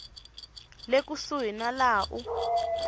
le kusuhi na laha u